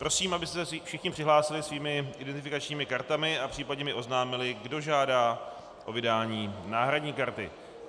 Prosím, abyste se všichni přihlásili svými identifikačními kartami a případně mi oznámili, kdo žádá o vydání náhradní karty.